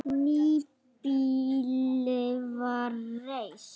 Nýbýli var reist.